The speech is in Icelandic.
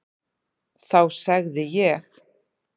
Þá segði ég: